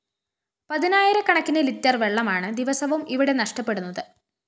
പതിനായിരകണക്കിന് litre വെളളമാണ് ദിവസവും ഇവിടെ നഷ്ടപ്പെടുന്നത്